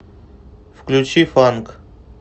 включи фанк